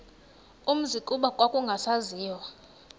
umzi kuba kwakungasaziwa